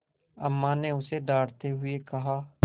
अम्मा ने उसे डाँटते हुए कहा